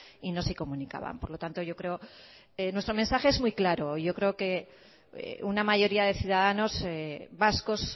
y no se comunicaban por lo tanto yo creo nuestro mensaje es muy claro yo creo que una mayoría de ciudadanos vascos